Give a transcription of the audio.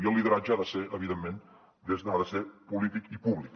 i el lideratge ha de ser evidentment polític i públic